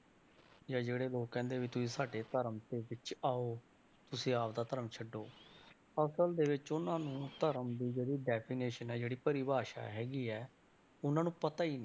ਜਾਂ ਜਿਹੜੇ ਲੋਕ ਕਹਿੰਦੇ ਵੀ ਤੁਸੀਂ ਸਾਡੇ ਧਰਮ ਦੇ ਵਿੱਚ ਆਓ ਤੁਸੀਂ ਆਪਦਾ ਧਰਮ ਛੱਡੋ ਅਸਲ ਦੇ ਵਿੱਚ ਉਹਨਾਂ ਨੂੰ ਧਰਮ ਦੀ ਜਿਹੜੀ definition ਹੈ, ਜਿਹੜੀ ਪਰਿਭਾਸ਼ਾ ਹੈਗੀ ਹੈ ਉਹਨਾਂ ਨੂੰ ਪਤਾ ਹੀ ਨੀ।